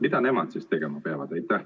Mida nemad siis tegema peavad?